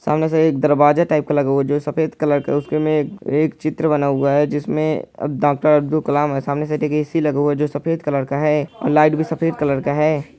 सामने से एक दरवाजे टाइप का लगा हुआ है जो सफेद कलर का है उसमे एक-एक चित्र बना हुआ है जिसमें डॉक्टर अब्दुल कलाम है सामने से ऐ.सी. लगा है जो सफेद कलर का है और लाइट भी सफेद कलर का है।